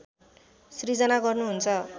सिर्जना गर्नुहुन्छ